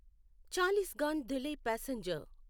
Chalisgaon Dhule passenger